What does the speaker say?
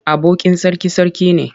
Abokin sarki sarki ne.